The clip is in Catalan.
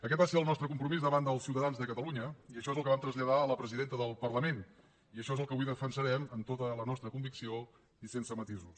aquest va ser el nostre compromís davant dels ciutadans de catalunya i això és el que vam traslladar a la presidenta del parlament i això és el que avui defensarem amb tota la nostra convicció i sense matisos